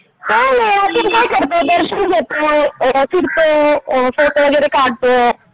काही नाही यात्रेत काय करतात दर्शन घेतो, फिरतो, फोटो वगैरे काढतो.